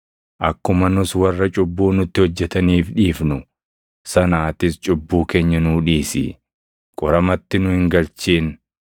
Akkuma nus warra cubbuu nutti hojjetaniif dhiifnu sana atis cubbuu keenya nuu dhiisi; qoramatti nu hin galchin.’ ”